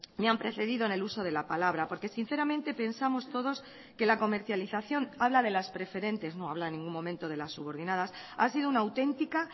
me han precedido en el uso de la palabra porque sinceramente pensamos todos que la comercialización habla de las preferentes no habla en ningún momento de las subordinadas ha sido una auténtica